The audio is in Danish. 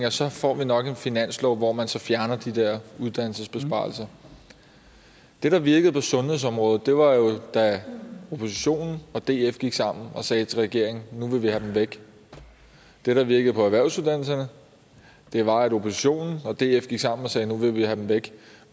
at så får vi nok en finanslov hvor man så fjerner de der uddannelsesbesparelser det der virkede på sundhedsområdet var jo at oppositionen og df gik sammen at sige til regeringen nu vil vi have dem væk det der virkede på erhvervsuddannelserne var at oppositionen og df gik sammen om at sige nu vil vi have dem væk